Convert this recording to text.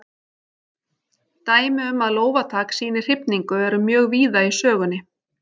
Dæmi um að lófatak sýni hrifningu eru mjög víða í sögunni.